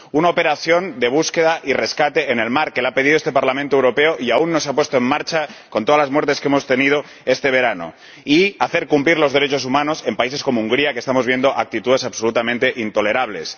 Una operación de búsqueda y rescate en el mar que la ha pedido este Parlamento Europeo y aún no se ha puesto en marcha, con todas las muertes que hemos tenido este verano, y hacer cumplir los derechos humanos en países como Hungría, que estamos viendo actitudes absolutamente intolerables.